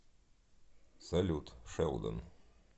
салют шелдон